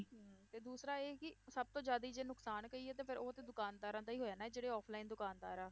ਹਮ ਤੇ ਦੂਸਰਾ ਇਹ ਕਿ ਸਭ ਤੋਂ ਜ਼ਿਆਦਾ ਜੇ ਨੁਕਸਾਨ ਕਹੀਏ ਤੇ ਫਿਰ ਉਹ ਤੇ ਦੁਕਾਨਦਾਰਾਂ ਦਾ ਹੀ ਹੋਇਆ ਨਾ ਜਿਹੜੇ offline ਦੁਕਾਨਦਾਰ ਆ